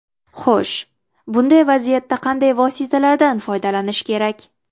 Xo‘sh, bunday vaziyatda qanday vositalardan foydalanish kerak?